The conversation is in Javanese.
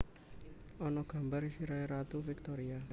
Ana gambar sirahe Ratu Victoria